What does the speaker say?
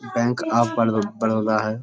Bank of बड़ो बड़ौदा है।